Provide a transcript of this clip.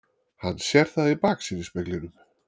Hann sér það í baksýnisspeglinum.